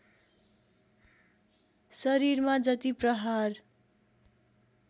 शरीरमा जति प्रहार